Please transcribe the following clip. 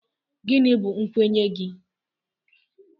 Gịnị bụ nkwenye gị?